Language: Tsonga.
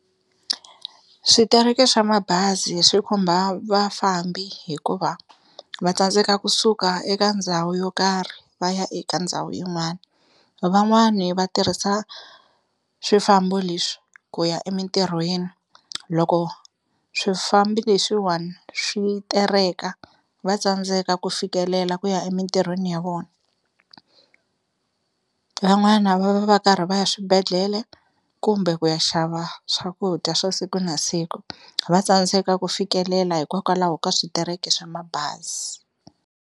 Switereke swa mabazi swi khumba vafambi hikuva va tsandzeka kusuka eka ndhawu yo karhi va ya eka ndhawu yin'wana, van'wani va tirhisa swifambo leswi ku ya emintirhweni loko swifambi leswiwani swi tereka va tsandzeka ku fikelela ku ya emintirhweni ya vona, van'wana va va va karhi va ya swibedhlele kumbe ku ya xava swakudya swa siku na siku va tsandzeka ku fikelela hikokwalaho ka switereke swa mabazi.